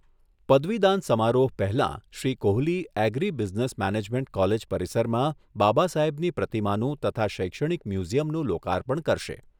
પદવીદાન સમારોહ પહેલાં Shri Kohli agri business management college પરિસરમાં બાબા સાહેબની પ્રતિમાનું તથા શૈક્ષણિક મ્યુઝિયમનું લોકાર્પણ કરશે.